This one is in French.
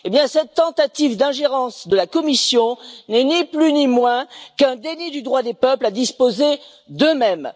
Cette tentative d'ingérence de la Commission n'est, ni plus ni moins, qu'un déni du droit des peuples à disposer d'eux mêmes.